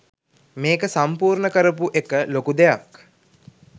මේක සම්පූර්ණ කරපු එක ලොකු දෙයක්.